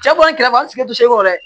Cɛ kɔni kɛrɛfɛ an sigi tɛ se kɔ dɛ